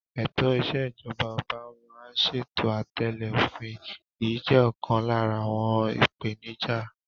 Ètò ìṣèjọba ọba máa ń ṣe àtẹ̀lẹ́ òfin, èyí jẹ́ ọ̀kan lára àwọn ìpèníjà.